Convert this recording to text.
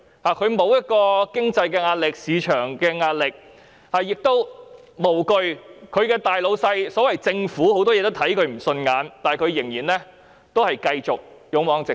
他們沒有經濟及市場壓力，即使其大老闆政府在多方面對他們看不順眼，他們亦無畏無懼，繼續勇往直前。